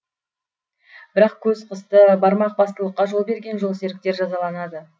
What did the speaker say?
бірақ көз қысты бармақ бастылыққа жол берген жолсеріктер жазаланады